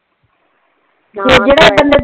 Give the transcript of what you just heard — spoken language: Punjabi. ਹਾਂ ਤੇ ਜੇਡਾ ਬੰਦਾ